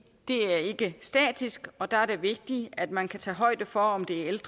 er ikke statisk og der er det vigtigt at man kan tage højde for om det er